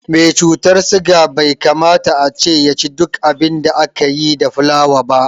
Me cutar suga bai kamata ace yaci duk abin da aka yi da fulawa ba